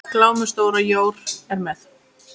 Glámu stóra jór er með.